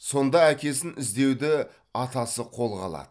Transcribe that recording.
сонда әкесін іздеуді атасы қолға алады